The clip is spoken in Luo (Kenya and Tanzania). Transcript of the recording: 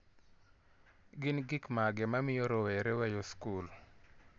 Gin gik mage mamiyo rowere weyo skul?